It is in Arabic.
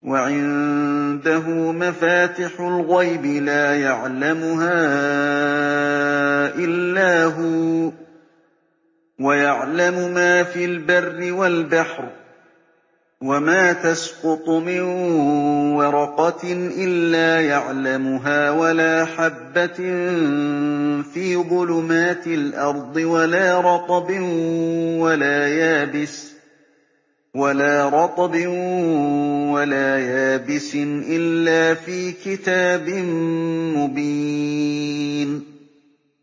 ۞ وَعِندَهُ مَفَاتِحُ الْغَيْبِ لَا يَعْلَمُهَا إِلَّا هُوَ ۚ وَيَعْلَمُ مَا فِي الْبَرِّ وَالْبَحْرِ ۚ وَمَا تَسْقُطُ مِن وَرَقَةٍ إِلَّا يَعْلَمُهَا وَلَا حَبَّةٍ فِي ظُلُمَاتِ الْأَرْضِ وَلَا رَطْبٍ وَلَا يَابِسٍ إِلَّا فِي كِتَابٍ مُّبِينٍ